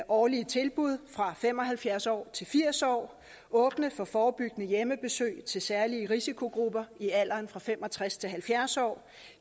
årlige tilbud fra fem og halvfjerds år til firs år åbne for forebyggende hjemmebesøg til særlige risikogrupper i alderen fem og tres til halvfjerds år